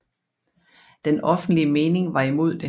Den offentlige mening var imod det